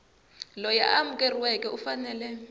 loyi a amukeriweke u fanele